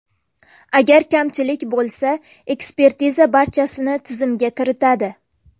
Agar kamchilik bo‘lsa, ekspertiza barchasini tizimga kiritadi.